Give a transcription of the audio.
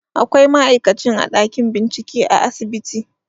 Akwai ma'aikacin a ɗakin bincike a asibiti